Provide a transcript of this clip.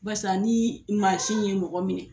Barisa ni ye mɔgɔ minɛ